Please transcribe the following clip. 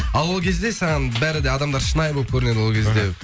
ал ол кезде саған бәрі де адамдар шынайы боп көрінеді ол кезде